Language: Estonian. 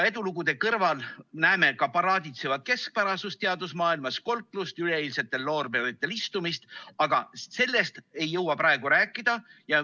Edulugude kõrval näeme ka paraaditsevat keskpärasust teadusmaailmas, kolklust, üleeilsetel loorberitel istumist, aga sellest ei jõua praegu rääkida.